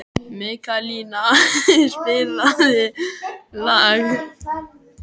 Mikaelína, spilaðu lag.